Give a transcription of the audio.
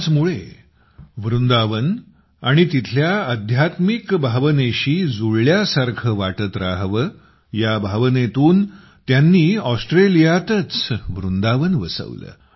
त्याचमुळे वृंदावन आणि तिथल्या आध्यात्मिक भावनेशी जुळल्यासारखे वाटत राहावे या भावनेतून त्यांनी ऑस्ट्रेलियातच वृंदावन वसवले